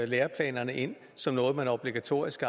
læreplanerne ind som noget man obligatorisk